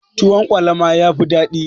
Tuwon kwalama yafi dadi.